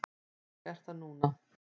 Þannig er það núna.